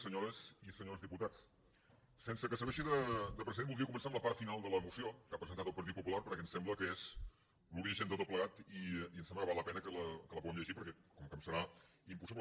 senyores i senyors diputats sense que serveixi de precedent voldria començar amb la part final de la moció que ha presentat el partit popular perquè em sembla que és l’origen de tot plegat i em sembla que val la pena que la puguem llegir perquè com que em serà impossible